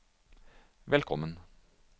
velkommen